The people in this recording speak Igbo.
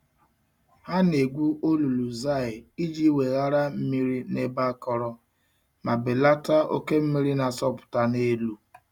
Ha na-egwu olulu zai iji weghara mmiri n'ebe akọrọ ma belata oke mmiri na-asọpụta n'elu.